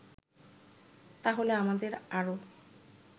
তাহলে আমাদের আরো